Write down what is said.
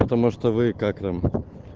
потому что вы как там